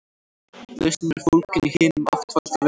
Lausnin er fólgin í hinum áttfalda vegi.